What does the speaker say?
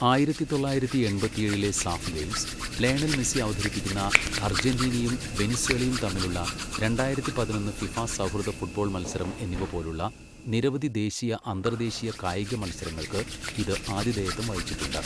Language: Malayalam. ആയിരത്തി തൊള്ളായിരത്തി എൺപത്തിയേഴിലെ സാഫ് ഗെയിംസ്, ലയണൽ മെസ്സി അവതരിപ്പിക്കുന്ന അർജന്റീനയും വെനിസ്വേലയും തമ്മിലുള്ള രണ്ടായിരത്തി പതിനൊന്ന് ഫിഫ സൗഹൃദ ഫുട്ബോൾ മത്സരം, എന്നിവ പോലുള്ള നിരവധി ദേശീയ അന്തർദേശീയ കായിക മത്സരങ്ങൾക്ക് ഇത് ആതിഥേയത്വം വഹിച്ചിട്ടുണ്ട്.